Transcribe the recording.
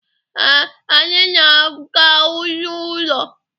Ee, anyị na-aga n'ụlọ.